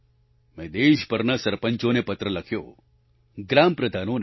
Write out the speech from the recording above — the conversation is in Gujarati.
મેં દેશભરના સરપંચોને પત્ર લખ્યો ગ્રામ પ્રધાનોને